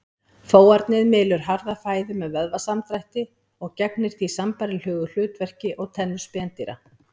Fóarnið mylur harða fæðu með vöðvasamdrætti og gegnir því sambærilegu hlutverki og tennur spendýra.